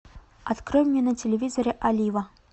открой мне на телевизоре олива